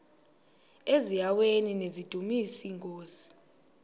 eziaweni nizidumis iinkosi